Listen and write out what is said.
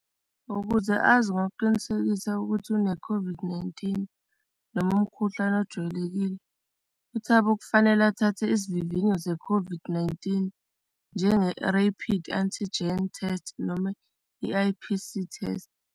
Ukuze azi ngokuqinisekisa ukuthi une COVID-19, noma umkhuhlane ojwayelekile, uThabo kufanele athathe isivivinyo ze-COVID-19 njenge-rapid antigen test noma i-I_P_C test.